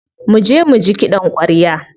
Muje muji kiɗan ƙwarya.